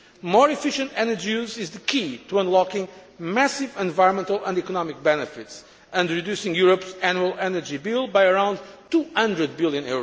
More efficient energy use is the key to unlocking massive environmental and economic benefits and reducing Europe's annual energy bill by around EUR 200 billion.